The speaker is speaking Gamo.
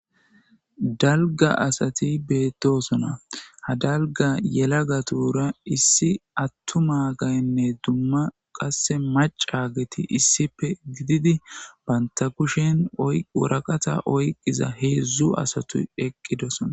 dalga asati beettosona ha dalga yelagatura issi attu ma gaynne dumma qasse macageti issipe gididi banta kushen woraqata oyqqiza heedzdzu asatu eqqidosona